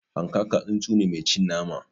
Hanƙaka tsuntsu ne mai cin nama